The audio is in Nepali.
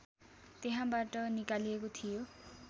त्यहाँबाट निकालिएको थियो